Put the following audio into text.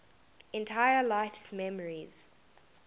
entire life's memories